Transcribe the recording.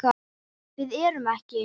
Við erum ekki.